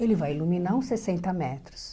Ele vai iluminar uns sessenta metros.